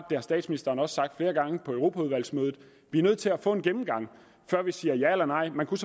det har statsministeren også sagt flere gange på europaudvalgsmødet at vi er nødt til at få en gennemgang før vi siger ja eller nej man kan